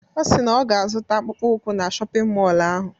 Ọ si na ọ ga-azụta akpụkpọ ụkwụ na shọpịn mọlụ ahụ.